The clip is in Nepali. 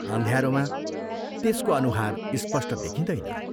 अँध्यारोमा त्यसको अनुहार स्पष्ट देखिंदैन।